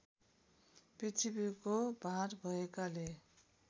पृथ्वीको भार भएकाले